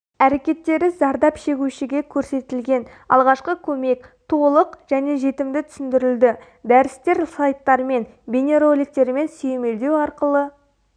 әрекеттері зардап шегушіге көрсетілетін алғашқы көмек толық және жетімді түсіндірілді дәрістер слайдттармен бейнероликтермен сүйемелдеу арқылы